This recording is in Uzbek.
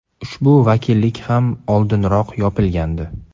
Ushbu vakillik ham oldinroq yopilgandi.